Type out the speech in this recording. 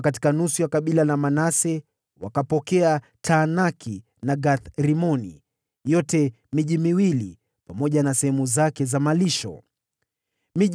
Kutoka nusu ya kabila la Manase, wakapokea Taanaki na Gath-Rimoni pamoja na sehemu zake za malisho, ilikuwa miji miwili.